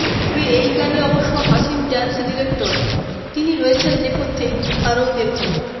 তবে এই গানে অবশ্য হাসিন ডান্স ডিরেক্টর তিনি রয়েছেন নেপথ্যেই আরও দেখুন